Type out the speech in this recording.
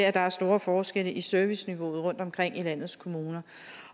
at der er store forskelle i serviceniveauet rundtomkring i landets kommuner